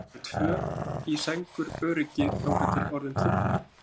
Eru tvö í sænguröryggi þangað til orðin trufla.